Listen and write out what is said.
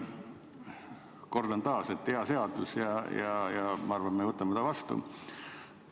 Kordan taas, et hea seadus ja ma arvan, et me võtame selle vastu.